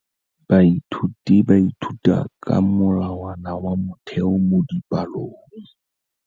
Baithuti ba ithuta ka molawana wa motheo mo dipalong.